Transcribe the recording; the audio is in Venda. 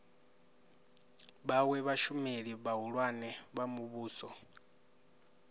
vhawe vhashumeli vhahulwane vha muvhuso